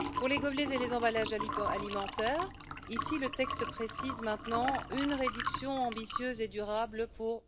Pour les gobelets et les emballages alimentaires, le texte précise maintenant une réduction ambitieuse et durable pour